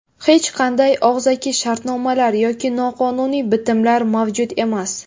Hech qanday og‘zaki shartnomalar yoki noqonuniy bitimlar mavjud emas.